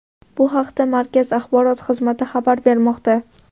Bu haqda markaz axborot xizmati xabar bermoqda .